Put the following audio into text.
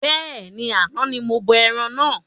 Bẹ́ẹ̀ni, àna ní mo bọ ẹran náà